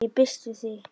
Ég býst við því.